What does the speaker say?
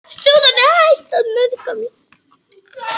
ÞÚ ÞARNA!